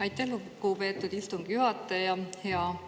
Aitäh, lugupeetud istungi juhataja!